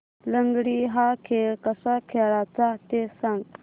लंगडी हा खेळ कसा खेळाचा ते सांग